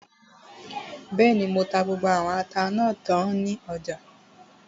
Bẹ́ẹ̀ni, mo ta gbogbo àwọn ata náà tán ní ọjà